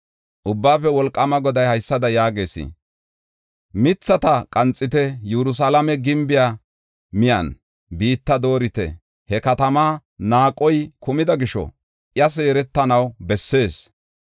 Ubbaafe Wolqaama Goday haysada yaagees: “Mithata qanxite. Yerusalaame gimbiya miyen biitta doorite. He kataman naaqoy kumida gisho I seeretanaw bessees.